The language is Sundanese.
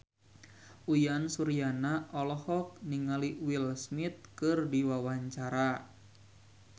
Uyan Suryana olohok ningali Will Smith keur diwawancara